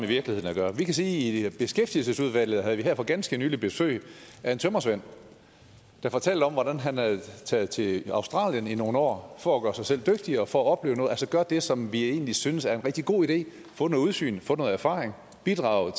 virkeligheden at gøre vi kan sige at vi i beskæftigelsesudvalget her for ganske nylig havde besøg af en tømrersvend der fortalte om hvordan han var taget til australien i nogle år for at gøre sig selv dygtigere og for at opleve noget altså gøre det som vi egentlig synes er en rigtig god idé få noget udsyn få noget erfaring bidrage